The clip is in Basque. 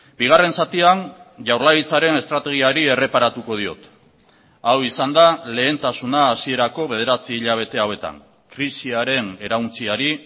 bigarren zatian jaurlaritzaren estrategiari erreparatuko diot hau izan da lehentasuna hasierako bederatzi hilabete hauetan krisiaren erauntsiari